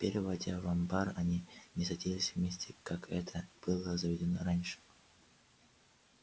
теперь войдя в амбар они не садились вместе как это было заведено раньше